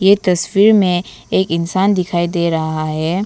ये तस्वीर में एक इंसान दिखाई दे रहा है।